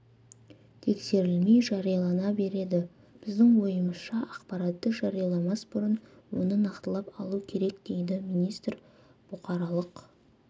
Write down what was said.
тексерілмей жариялана береді біздің ойымызша ақпаратты жарияламас бұрын оны нақтылап алу керек дейді министр бұқаралық